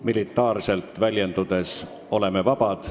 Militaarselt väljendudes oleme vabad.